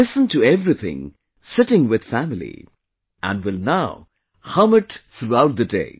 We listened to everything sitting with family and will now hum it throughout the day